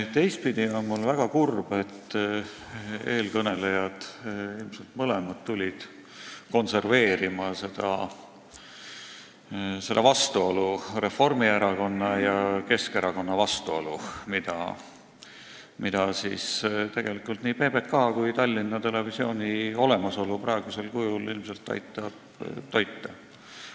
Teistpidi on mul väga kurb, et eelkõnelejad – ilmselt mõlemad – tulid konserveerima seda vastuolu, Reformierakonna ja Keskerakonna vastuolu, mida nii PBK kui ka Tallinna Televisooni olemasolu praegusel kujul ilmselt aitab toita.